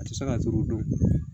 A tɛ se ka turu don